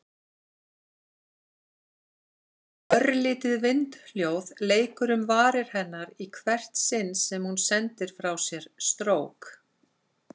Örlítið vindhljóð leikur um varir hennar í hvert sinn sem hún sendir frá sér strók.